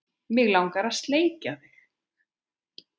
Mig langar að sleikja þig.